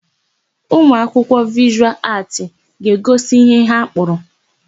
Ụmụakwụkwọ Vịshụal Aatị ga-egosi ihe ha kpụrụ.